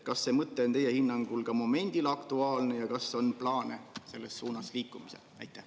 Kas see mõte on teie hinnangul ka momendil aktuaalne ja kas on plaane selles suunas liikumisel?